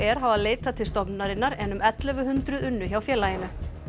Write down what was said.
hafa leitað til stofnunarinnar en um ellefu hundruð unnu hjá félaginu